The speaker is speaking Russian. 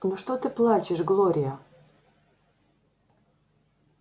ну что ты плачешь глория